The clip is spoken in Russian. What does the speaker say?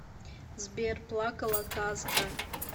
сбер плакала казка